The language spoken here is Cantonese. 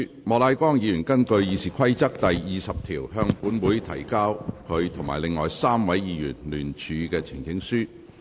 莫乃光議員根據《議事規則》第20條，向本會提交他及另外3位議員聯署的呈請書。